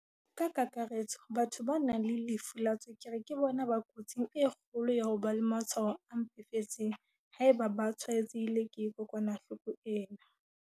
"Ka kakaretso, batho ba nang le lefu la tswekere ke bona ba kotsing e kgolo ya ho ba le matshwao a mpefetseng haeba ba tshwaetsehile ke kokwanahloko ena."